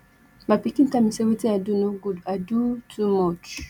my pikin tell me say wetin i do no good i doo too much